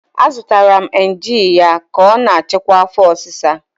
Azụtara m Emgyl ya ka ọ na-achịkwa afo osisa